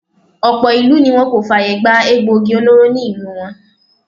Ọ̀pọ̀ ìlú ni wọ́n kò fàyè gbà egboògi olóró ní ìlú wọn.